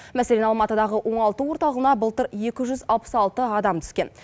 мәселен алматыдағы оңалту орталығына былтыр екі жүз алпыс алты адам түскен